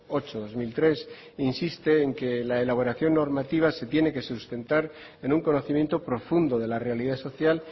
ocho barra dos mil tres insiste en que la elaboración normativa se tiene que sustentar en un conocimiento profundo de la realidad social